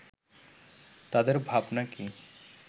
তাদের ভাবনা কি